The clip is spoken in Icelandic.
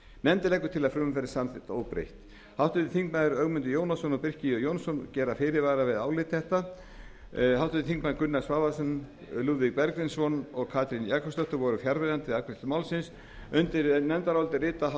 nefndin leggur til að frumvarpið verði samþykkt óbreytt háttvirtir þingmenn ögmundur jónasson og birkir j jónsson gera fyrirvara við álit þetta háttvirtir þingmenn gunnar svavarsson lúðvík bergvinsson og katrín jakobsdóttir voru fjarverandi við afgreiðslu málsins undir nefndarálitið rita